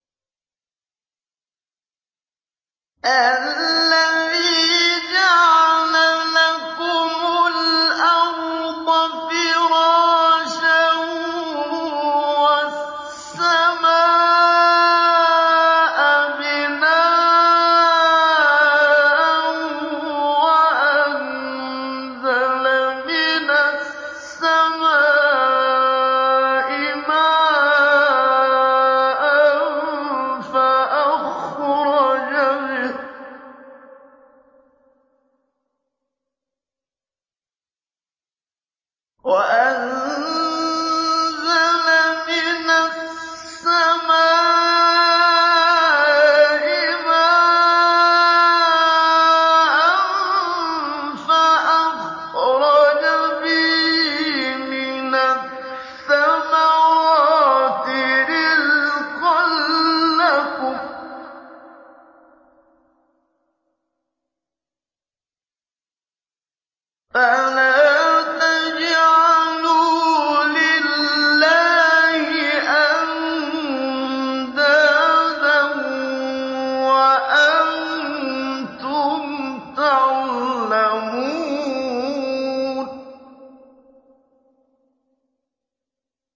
الَّذِي جَعَلَ لَكُمُ الْأَرْضَ فِرَاشًا وَالسَّمَاءَ بِنَاءً وَأَنزَلَ مِنَ السَّمَاءِ مَاءً فَأَخْرَجَ بِهِ مِنَ الثَّمَرَاتِ رِزْقًا لَّكُمْ ۖ فَلَا تَجْعَلُوا لِلَّهِ أَندَادًا وَأَنتُمْ تَعْلَمُونَ